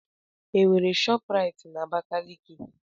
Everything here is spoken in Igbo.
Enwere ShopRite na Abakaliki?